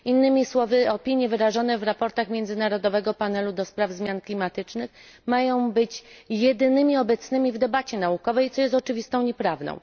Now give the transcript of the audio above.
Innymi słowy, opinie wyrażone w raportach międzynarodowego panelu ds. zmian klimatycznych mają być jedynymi obecnymi w debacie naukowej, co jest oczywistą nieprawdą.